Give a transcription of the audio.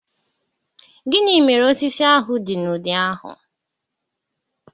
gini mere osisi ahu di n'udi ahu?